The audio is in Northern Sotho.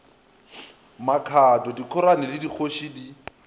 makhado dikhorane le dikgoši di